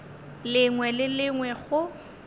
lengwe le le lengwe go